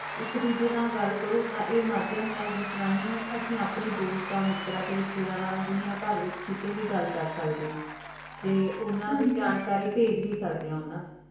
ਏਇਕ ਦੋਜਯ ਨਾਲ ਗਲ ਕਰੋਂ ਤਾਂ ਇਹ ਮਧਿਮ ਹੈ ਜਿਸ ਤਰਹ ਹੀ ਅਪਨੇ ਦੋਸਤਾਂ ਮਿਤਰਾਂ ਤੇ ਰਿਸ਼੍ਤਾਯ੍ਦਾਰਾਂ ਨਾਲ ਦੁਨੀ ਭਰ ਵਿਚ ਵੀ ਗਲ ਕਰ ਸਕਦੇ ਆਂ ਤੇ ਓਨਾਂ ਦੀ ਜਾਣਕਾਰੀ ਭੇਜ ਵੀ ਸਕਦੇ ਆਂ ਓਨਾਂ ਨੂ